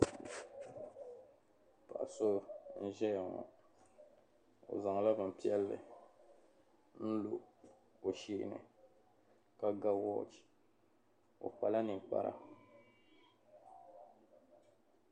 Paɣa so n ʒayaŋɔ, ɔ zaŋla bin piɛli n lɔ ɔ sheeni ka ga woch, ɔ kpala ninkpara